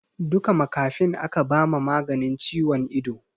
Duka makafin aka ba ma maganin ciwon ido